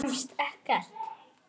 Kemst ekkert.